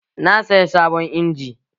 Na saya sabon injin